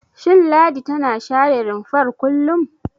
Shin Ladi tana share rumfar kullum?